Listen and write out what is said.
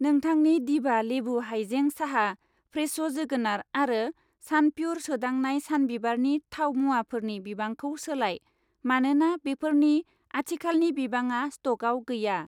नोंथांनि दिभा लेबु हायजें साहा, फ्रेश' जोगोनार आरो सानप्युर सोदांनाय सानबिबारनि थाव मुवाफोरनि बिबांखौ सोलाय मानोना बेफोरनि आथिखालनि बिबाङा स्टकआव गैया